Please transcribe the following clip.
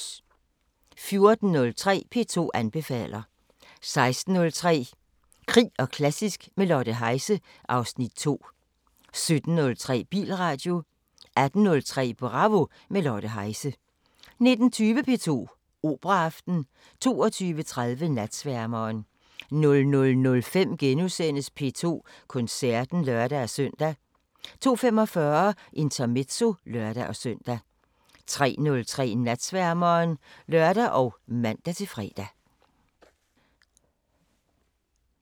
14:03: P2 anbefaler 16:03: Krig og klassisk – med Lotte Heise (Afs. 2) 17:03: Bilradio 18:03: Bravo – med Lotte Heise 19:20: P2 Operaaften 22:30: Natsværmeren 00:05: P2 Koncerten *(lør-søn) 02:45: Intermezzo (lør-søn) 03:03: Natsværmeren (lør og man-fre)